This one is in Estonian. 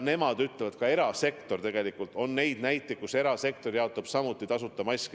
Nemad ütlevad, et on ka neid näiteid, kus erasektor jaotab samuti tasuta maske.